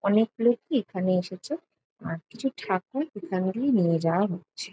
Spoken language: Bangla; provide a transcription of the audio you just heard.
অনেক লোকই এখানে এসেছে আর কিছু ঠাকুর এখান দিয়ে নিয়ে যাওয়া হচ্ছে।